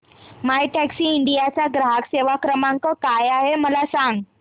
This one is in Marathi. मायटॅक्सीइंडिया चा ग्राहक सेवा क्रमांक काय आहे मला सांग